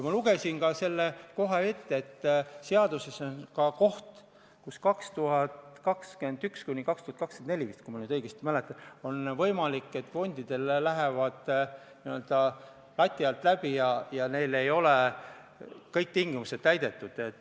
Ma lugesin ka selle ette, et seaduses on koht, et perioodil 2021–2024, kui ma nüüd õigesti mäletan, on võimalik, et fondid lähevad n-ö lati alt läbi ja neil ei ole kõik tingimused täidetud.